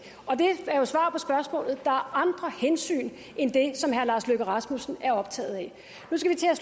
og andre hensyn end det som herre lars løkke rasmussen er optaget af